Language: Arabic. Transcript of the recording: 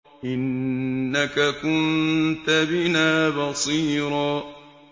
إِنَّكَ كُنتَ بِنَا بَصِيرًا